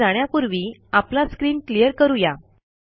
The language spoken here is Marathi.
पुढे जाण्यापूर्वी आपला स्क्रीन क्लियर करू या